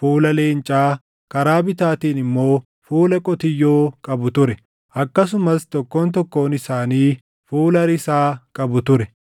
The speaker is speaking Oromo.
fuula leencaa, karaa bitaatiin immoo fuula qotiyyoo qabu ture; akkasumas tokkoon tokkoon isaanii fuula risaa qabu ture.